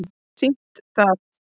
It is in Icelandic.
sýnt það